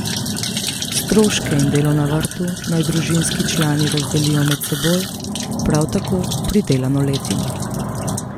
Stroške in delo na vrtu naj družinski člani razdelijo med seboj, prav tako pridelano letino.